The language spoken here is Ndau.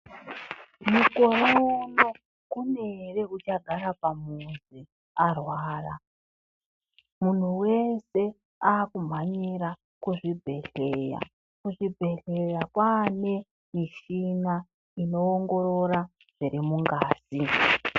Mukore uno kune ere uchagara pamuzi achirwara. Munhu wese akumhanyira kuzvibhehleya. Kuchibhehleya kwane michina inowongorora zviri mungazi.